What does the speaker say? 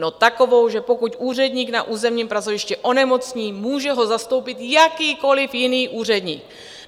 No takovou, že pokud úředník na územním pracovišti onemocní, může ho zastoupit jakýkoliv jiný úředník.